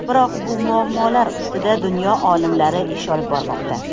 Biroq bu muammolar ustida dunyo olimlari ish olib bormoqda.